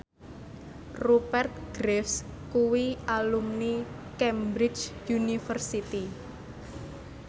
Rupert Graves kuwi alumni Cambridge University